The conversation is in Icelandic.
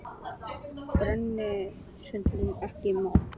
Birna skoraði ekki mark.